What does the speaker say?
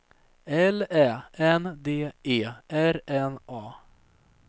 L Ä N D E R N A